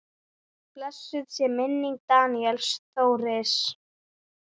Blessuð sé minning Daníels Þóris.